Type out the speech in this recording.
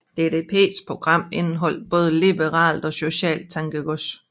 DDPs program indeholdt både liberalt og socialt tankegods